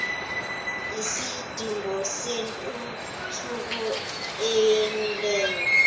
isidingo sentuthuko emileyo